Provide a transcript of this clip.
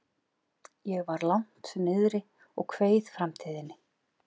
Ég var langt niðri og kveið framtíðinni.